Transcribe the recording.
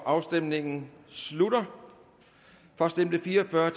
afstemningen slutter for stemte fire og fyrre